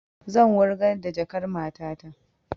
Zan wurgar da jakan matata